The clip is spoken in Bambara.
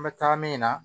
An bɛ taa min na